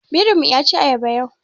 Birin mu yaci ayaba yau.